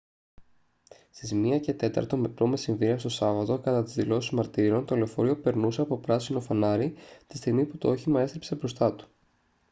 στις 1:15 π.μ. το σάββατο κατά τις δηλώσεις μαρτύρων το λεωφορείο περνούσε από πράσινο φανάρι τη στιγμή που το όχημα έστριψε μπροστά του